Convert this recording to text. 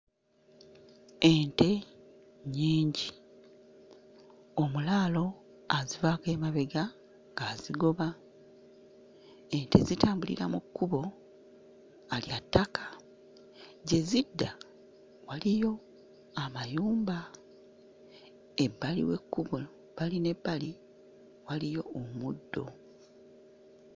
Ente nnyingi. Omulaalo azivaako emabega azigoba ente zitambulira mu kkubo nga lya ttaka, gye zidda waliyo amayumba ebbali w'ekkubo bbali n'ebbali waliyo omuddo.